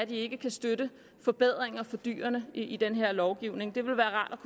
ikke kan støtte forbedringer for dyrene i den her lovgivning det ville være rart